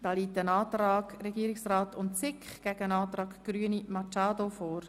Hier steht der Antrag SiK und Regierungsrat dem Antrag Grüne gegenüber.